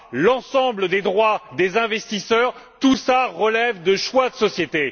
l'ensemble des droits des investisseurs, tout cela relève de choix de société.